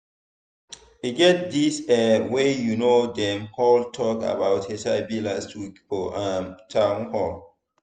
e get this eh wey you know dem hold talk about hiv last week for um town hall